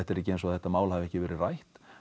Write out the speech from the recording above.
er ekki eins og þetta máli hafi ekki verið rætt